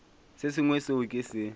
se sengwe seo ke se